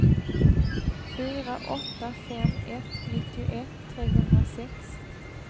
fyra åtta fem ett nittioett trehundrasex